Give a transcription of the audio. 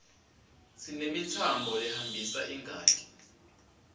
sinemitsambo lehambisa ingati